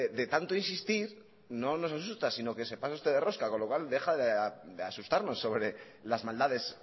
de tanto insistir no nos asusta sino que se pasa usted de rosca con lo cual deja de asustarnos sobre las maldades